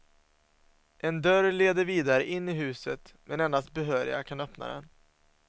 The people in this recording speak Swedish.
En dörr leder vidare in i huset, men endast behöriga kan öppna den.